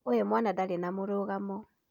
Ũyũ mwana ndarĩ na mũrũgamo